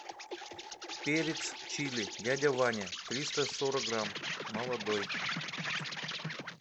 перец чили дядя ваня триста сорок грамм молодой